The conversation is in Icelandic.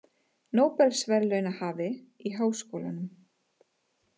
Nóbelsverðlaunahafi í háskólanum